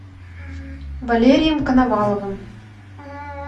валерием коноваловым